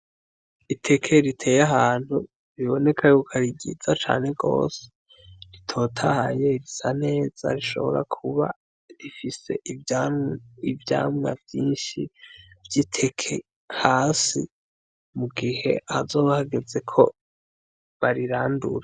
Iteke riteye ahantu riboneka yuko arigiza cane gose ritotahaye risa neza rishobora kuba rifise iva ivyamwa vyinshi vy'iteke hasi mu gihe azobahageze ko barirandura.